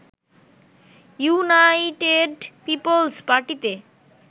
United Peoples পার্টিতে